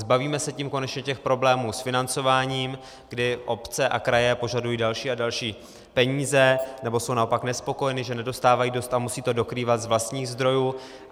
Zbavíme se tím konečně těch problémů s financováním, kdy obce a kraje požadují další a další peníze, nebo jsou naopak nespokojené, že nedostávají dost a musí to dokrývat z vlastních zdrojů.